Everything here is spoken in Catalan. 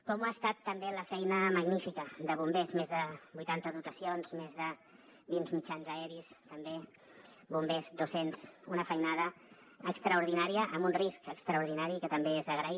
com ho ha estat també la feina magnífica de bombers més de vuitanta dotacions més de vint mitjans aeris també bombers dos cents una feinada extraordinària amb un risc extraordinari i que també és d’agrair